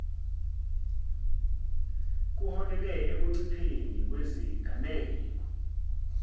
kuholele ekuncipheni kwezigameko